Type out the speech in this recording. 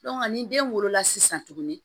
ni den wolola sisan tuguni